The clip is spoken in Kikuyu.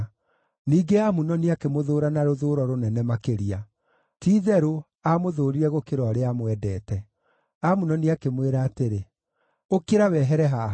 Ningĩ Amunoni akĩmũthũũra na rũthũũro rũnene makĩria. Ti-itherũ, aamũthũũrire gũkĩra ũrĩa aamwendete. Amunoni akĩmwĩra atĩrĩ, “Ũkĩra, wehere haha!”